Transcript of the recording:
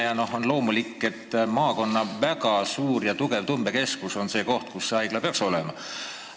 Ja on loomulik, et maakonna väga suur ja tugev tõmbekeskus on see koht, kus haigla peaks olema.